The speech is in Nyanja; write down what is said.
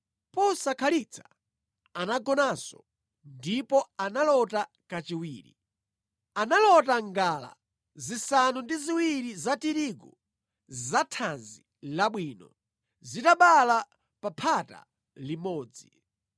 Posakhalitsa anagonanso ndipo analota kachiwiri: Analota ngala zisanu ndi ziwiri za tirigu zathanzi labwino zitabala pa phata limodzi.